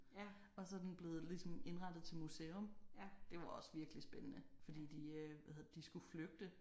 Og så er den blevet ligesom indrettet til museum. Det var også virkelig spændende fordi de øh hvad hedder det de skulle flygte